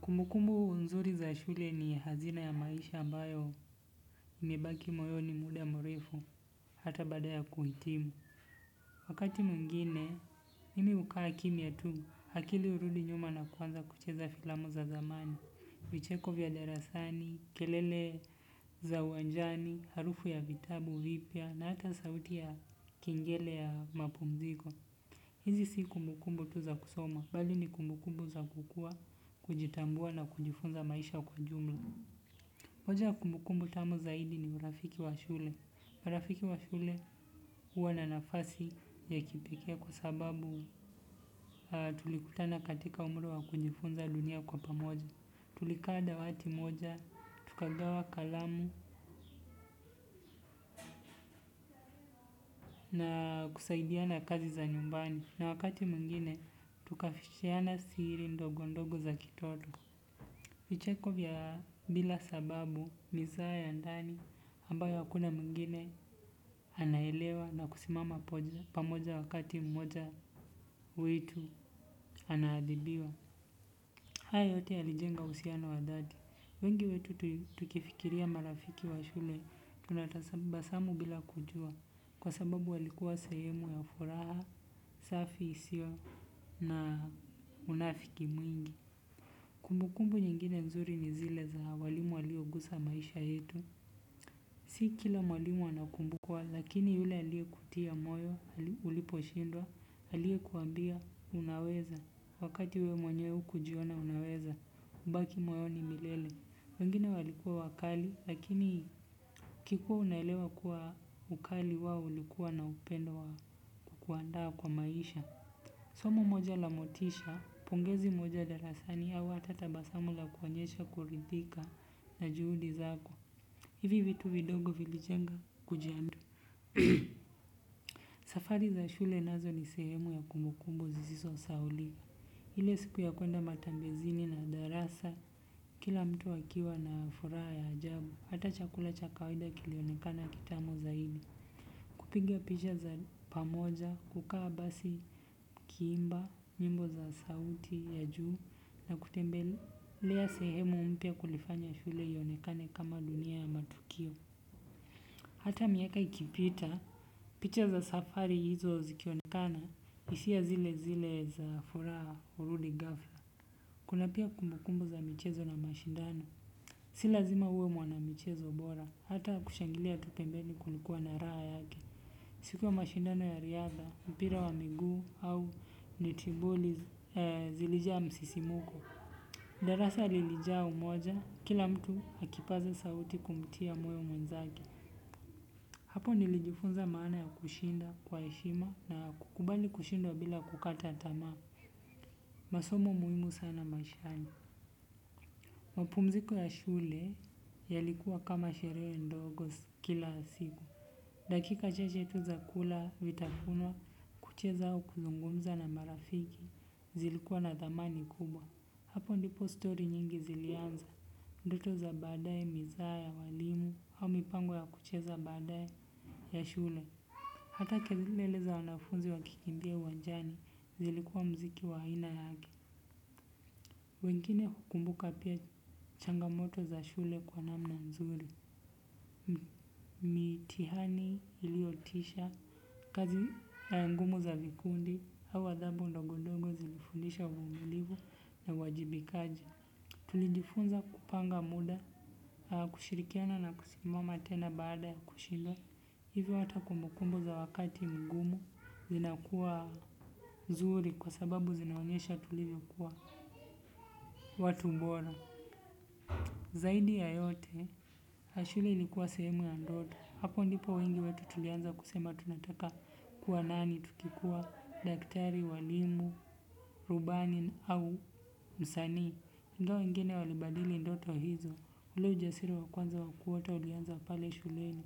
Kumbukumbu nzuri za shule ni hazina ya maisha ambayo imebaki moyoni muda mrefu hata badaya kuhitimu. Wakati muingine mimi ukaa kimia tu hakili urudi nyuma na kuwanza kucheza filamu za zamani, vicheko vya darasani, kelele za uwanjani, harufu ya vitabu vipia na hata sauti ya kengele ya mapumziko. Hizi si kumbukumbu tuza kusoma, bali ni kumbukumbu za kukua, kujitambua na kujifunza maisha kwa jumla. Moja kumbukumbu tamu zaidi ni urafiki wa shule. Urafiki wa shule uwa na nafasi ya kipeke kwa sababu tulikutana katika umri wa kujifunza dunia kwa pamoja. Tulika dawati moja, tukagawa kalamu na kusaidiana kazi za nyumbani. Na wakati muingine, tukafishiana siri ndogo ndogo za kitoto. Vicheko vya bila sababu mizaa ya ndani ambayo akuna muingine anaelewa na kusimama poja pamoja wakati mmoja witu anahadibiwa. Haa yote yalijenga usiano wa dhati. Wengi wetu tukifikiria marafiki wa shule tunatasamba samu bila kujua. Kwa sababu walikuwa sehemu ya furaha safi isiyo na unafki mwingi. Kumbukumbu nyingine nzuri ni zile za walimu waliyogusa maisha yetu. Si kila mwalimu anakumbukwa lakini yule aliekutia moyo, uliposhindwa, aliekuambia unaweza. Wakati wewe mwenye hukujiona unaweza, hubaki moyoni milele. Wengine walikuwa wakali lakini kikuwa unaelewa kuwa ukali wao ulikuwa na upendo wa kukuandaa kwa maisha. Somo moja la motisha, pongezi moja darasani au hata tabasamu la kuonyesha kuridhika na juhudi zako. Hivi vitu vidogo vilijenga kujandu. Safari za shule nazo ni sehemu ya kumbukumbu zizisosahaulika. Ile siku ya kwenda matembezini na darasa, kila mtu akiwa na furaha ya ajabu. Hata chakula cha kawada kilionekana kitamu zaidi. Kupinga picha za pamoja, kukaa basi ukiimba nyimbo za sauti ya juu, na kutembelea sehemu mpya kulifanya shule ionekane kama dunia ya matukio. Hata miaka ikipita, picha za safari hizo zikionekana hisia zile zile za furaha hurudi ghafla. Kuna pia kumbukumbu za michezo na mashindano. Si lazima uwe mwana michezo bora, hata kushangilia tu pembeni kulikuwa na raha yake. Siku ya mashindano ya riadha, mpira wa miguu au netiboli zilijaa msisimko. Darasa lilijaa umoja, kila mtu akipaza sauti kumtia moyo mwenzake. Hapo nilijifunza maana ya kushinda kwa heshima na kukubali kushinda bila kukata tama. Masomo muhimu sana maishani. Mapumziko ya shule, yalikuwa kama sherehe ndogo kila siku. Dakika chache tu za kula vitafunwa, kucheza au kuzungumza na marafiki, zilikuwa na dhamani kubwa. Hapo ndipo story nyingi zilianza, ndoto za baadae, mizaha ya walimu, au mipango ya kucheza baadae ya shule. Hata kelele za wanafunzi wakikimbia uwanjani, zilikuwa mziki wa aina yake. Wengine hukumbuka pia changamoto za shule kwa namna nzuri. Mitihani iliotisha, kazi ngumu za vikundi, au dhabu ndogondongo zilifundisha uvumulivu na uwajibikaji. Tulijifunza kupanga muda, kushirikiana na kusimama tena baada ya kushindwa. Hivyo hata kumbukumbu za wakati mgumu zinakuwa, zuri kwa sababu zinaonyesha tulivyokuwa watu bora. Zaidi ya yote, shule ilikuwa sehemu ya ndoto. Hapo ndipo wengi wetu tulianza kusema tunataka kuwa nani tukikua, daktari, walimu, rubani au msanii. Ndo wengine walibadili ndoto hizo. Ule ujasiri wa kwanza wa kuota ulianza pale shuleni.